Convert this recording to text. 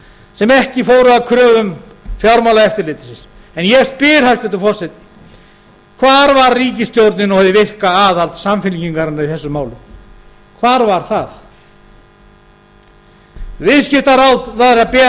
sem ekki fóru að kröfum fjármálaeftirlitsins en ég spyr hæstvirtur forseti hvar var ríkisstjórnin og hið virka aðhald samfylkingarinnar í þessum málum hvar var það viðskiptaráðherra ber